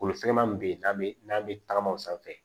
Kolosɛman min bɛ yen n'an bɛ n'an bɛ tagama o sanfɛ